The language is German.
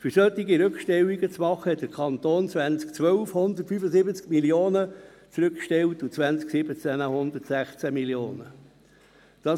Um solche Rückstellungen zu machen, hat der Kanton Bern 2012 175 Mio. Franken zurückgestellt und im Jahr 2017 116 Mio. Franken.